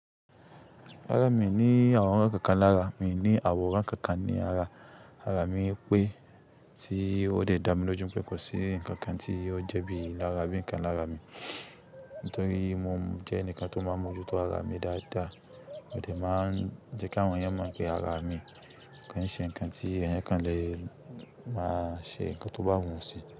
Rárá, mi ò ní àwòrán kankan lára, mi ní àwòrán kankan ní ara. Ara mi pẹ́ tí ó de dá mi lójú pé kò sí ǹkankan tí ó jẹ́ bí ilára abí ǹkan lára mi. Nítorí mo jẹ́ ẹnìkan tó máa ń mójú tó ara mi dáadáa, mo dè máa jẹ́ káwọn èèyàn mọ̀ pé ara mi kì í ṣe ǹkan tí ẹ̀yán kan lè máa ṣe ǹkan tó bá wù sí.